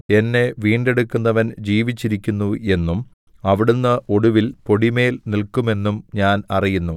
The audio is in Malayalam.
എന്നെ വീണ്ടെടുക്കുന്നവൻ ജീവിച്ചിരിക്കുന്നു എന്നും അവിടുന്ന് ഒടുവിൽ പൊടിമേൽ നില്‍ക്കുമെന്നും ഞാൻ അറിയുന്നു